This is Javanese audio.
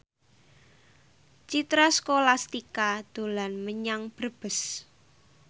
Citra Scholastika dolan menyang Brebes